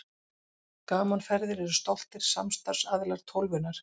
Gaman Ferðir eru stoltir samstarfsaðilar Tólfunnar.